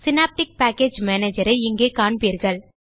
synaptic package Managerஐ இங்கே காண்பீர்கள்